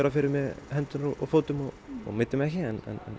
fyrir mig höndum og fótum ég meiddi mig ekki en